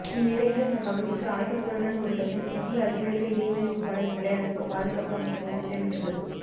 இந்நிலையில் அந்த பகுதிக்கு ஆயுதங்களுடன் ஒரு டஜன் புதிய அதிவேக இடைமறிப்பு படகுகளை அனுப்ப பாதுகாப்பு அமைச்சகம் திட்டமிட்டுள்ளது